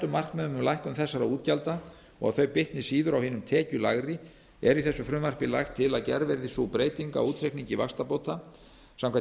markmiðum um að lækkun þessara útgjalda bitni síður á hinum tekjulægri er í þessu frumvarpi lagt til að gerð verði sú breyting á útreikningi vaxtabóta samkvæmt